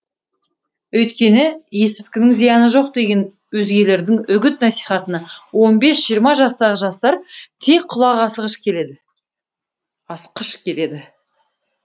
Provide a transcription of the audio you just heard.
өйткені есірткінің зияны жоқ деген өзгелердің үгіт насихатына он бес жиырма жастағы жастар тез құлақ асқыш келеді